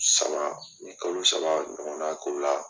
Saba u ye kalo saba ɲɔgɔnna k'o la.